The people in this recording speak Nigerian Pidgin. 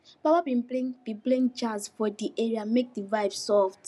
baba bin play bin play jazz for the area make the vibe soft